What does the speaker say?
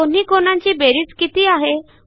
दोन्ही कोनांची बेरीज किती आहे